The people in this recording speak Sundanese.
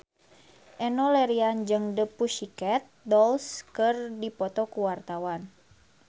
Enno Lerian jeung The Pussycat Dolls keur dipoto ku wartawan